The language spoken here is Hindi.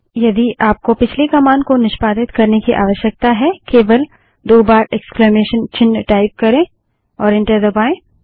यदि आपको पिछली कमांड को निष्पादित करने की आवश्यकता है केवल दो बार इक्स्लामेसन चिन्ह टाइप करें और एंटर दबायें